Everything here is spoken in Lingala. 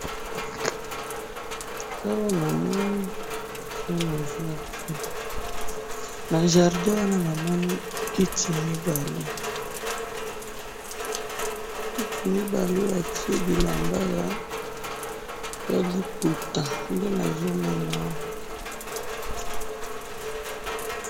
awa namoni ezana jardin na jardin wana namoni kiti mibale kitimibale batie bilamba yaliputa ndenazomona awa